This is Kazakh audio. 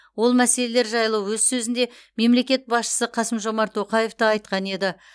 ол мәселелер жайлы өз сөзінде мемлекет басшысы қасым жомарт тоқаев та айтқан еді